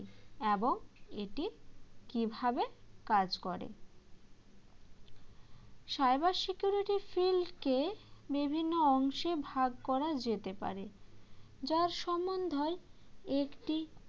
এবং এটি কীভাবে কাজ করে cyber security shield কে বিভিন্ন অংশে ভাগ করা যেতে পারে যার সম্বন্ধীয় একটি